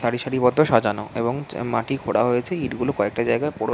সারি সারিবব্ধ সাজানো এবং চ মাটি খোঁড়া হয়েছে ইঁট গুলো কয়েকটা জায়গায় পোড়ো--